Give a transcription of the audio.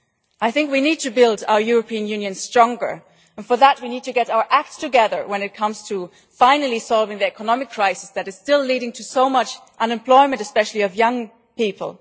I think we need to build our European Union stronger, and for that we need to get our act together when it comes to finally solving the economic crisis that is still leading to so much unemployment, especially for young people.